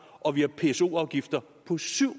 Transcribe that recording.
og vi har pso afgifter på syv